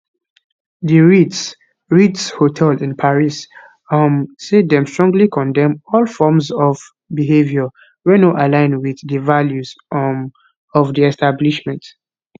di ritz ritz hotel in paris um say dem strongly condemn all forms of behaviour wey no align with di values um of di establishment